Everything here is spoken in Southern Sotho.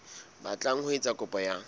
batlang ho etsa kopo ya